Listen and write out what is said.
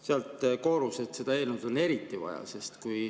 Sealt koorus, et seda eelnõu on eriti vaja.